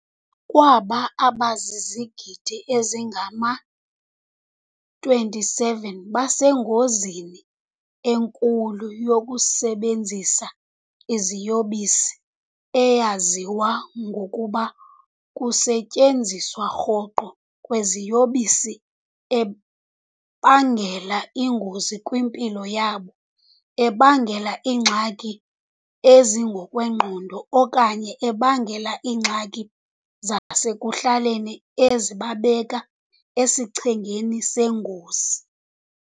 Kwaba, abazizigidi ezingama-27 basengozini enkulu yokusebenzisa iziyobisi - eyaziwa ngokuba kukusetyenziswa rhoqo kweziyobisi - ebangela ingozi kwimpilo yabo, ebangela iingxaki ezingokwengqondo, okanye ebangela iingxaki zasekuhlaleni ezibabeka esichengeni sengozi.